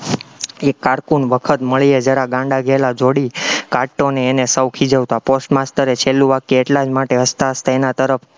એ cocoon વખત મળીએ જરા ગાંડા ઘેલા જોડી, કાટ્ટોને એને સૌ ખીજવતા post master એ છેલ્લું વાક્ય એટલા જ માટે હસતા હસતા એના તરફ